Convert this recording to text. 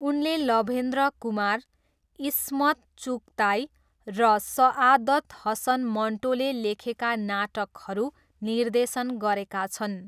उनले लभेन्द्र कुमार, इस्मत चुगताई र सआदत हसन मन्टोले लेखेका नाटकहरू निर्देशन गरेका छन्।